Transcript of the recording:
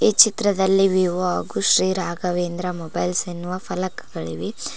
ಈ ಚಿತ್ರದಲ್ಲಿ ವಿವೊ ಹಾಗು ಶ್ರೀ ರಾಘವೇಂದ್ರ ಮೊಬೈಲ್ಸ್ ಎನ್ನುವ ಫಲಕಗಳಿವೆ.